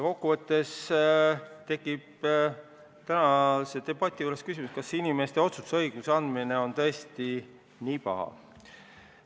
Kokku võttes on ka tänases debatis tekkinud küsimus, kas inimestele otsustusõiguse andmine on tõesti nii paha.